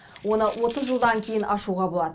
оны отыз жылдан кейін ашуға болады